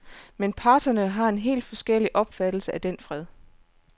Men parterne har en helt forskellig opfattelse af den fred.